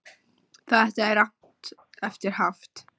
Þetta er rangt eftir haft